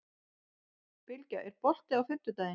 Bylgja, er bolti á fimmtudaginn?